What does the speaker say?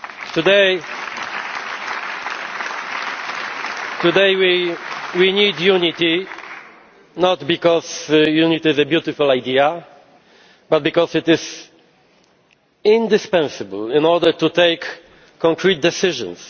Today we need unity, not because unity is a beautiful idea, but because it is indispensable in order to take concrete decisions.